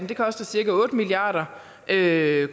det koster cirka otte milliard kr